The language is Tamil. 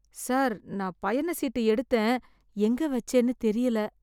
சார் நான் பயணச்சீட்டு எடுத்தேன், எங்க வச்சேனு தெரியல?